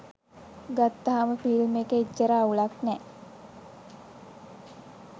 ගත්තහම ෆිල්ම් එක එච්චර අවුලක් නෑ.